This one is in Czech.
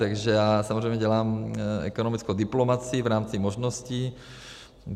Takže já samozřejmě dělám ekonomickou diplomacii v rámci možností.